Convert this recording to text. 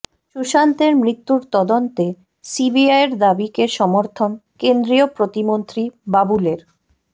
সুশান্তের মৃত্যুর তদন্তে সিবিআইয়ের দাবিকে সমর্থন কেন্দ্রীয় প্রতিমন্ত্রী বাবুলের